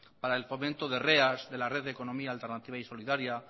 para el fomento de reas de la red de economía alternativa y solidaria